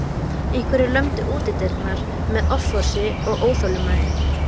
Einhverjir lömdu útidyrnar með offorsi og óþolinmæði.